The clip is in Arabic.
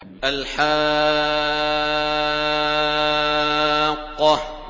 الْحَاقَّةُ